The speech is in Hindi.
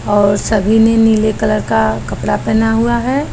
और सभी ने नीले कलर का कपड़ा पहना हुआ है।